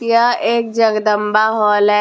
यह एक जगदंबा हॉल है।